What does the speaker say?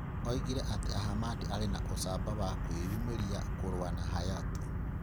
Oigire atĩ Ahmad aarĩ na 'ũcamba' wa kwĩũmĩria kũrũa na Hayatou.